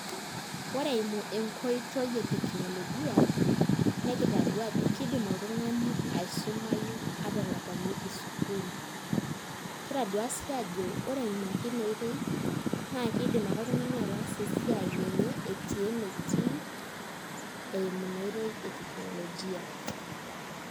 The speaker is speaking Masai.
Ore eimu enkoitoi e teknolojia nekitadua ajo kiidim oltung'ani aisumayu ata elakuaniki sukuul, kitadua sii ake aajo ore eimu ake ina oitoi naa kiidim ake oltung'ani ataasa esiai enye etii enetii eimu ina oitoi e teknolojia.